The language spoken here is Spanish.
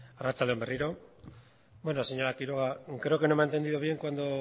bai arratsalde on berriro bueno señora quiroga creo que no me ha entendido bien cuando